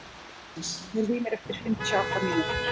Agnes, heyrðu í mér eftir fimmtíu og átta mínútur.